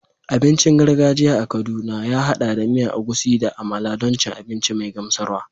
Abincin gargajiya a Kaduna ya haɗa da miya Egusi da amala don cin abinci mai gamsarwa.